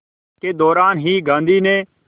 के दौरान ही गांधी ने